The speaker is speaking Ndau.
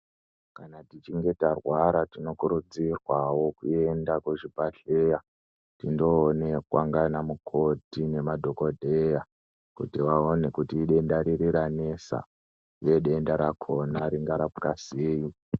Kana tichinge tarwara tinokurudzirwawo kuenda kuzvibhedhlera kundoonekwa nana mukoti nemadhokodheya kuti vaone kuti idenda riri Kunessa nedenda rakona rakasiyawo.